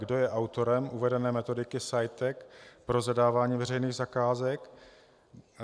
Kdo je autorem uvedené metodiky CEITEC pro zadávání veřejných zakázek?